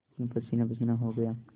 मैं पसीनापसीना हो गया